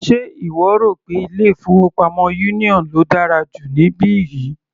Ṣe ìwọ rò pé ilé-ìfowópamọ́ union ló dára jù níbí yìí?